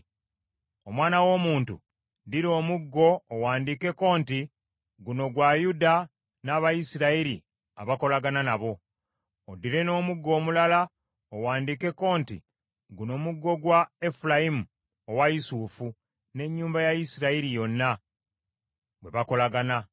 “Omwana w’omuntu ddira omuggo owandiikeko nti, ‘Guno gwa Yuda n’Abayisirayiri abakolagana nabo.’ Oddire n’omuggo omulala owandiikeko nti, ‘Guno muggo gwa Efulayimu owa Yusufu n’ennyumba ya Isirayiri yonna, bwe bakolagana.’